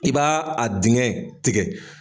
I b'a a dingɛ tigɛ.